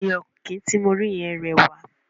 Ẹyẹ ọ̀kín ti mo rí yẹn rẹwà.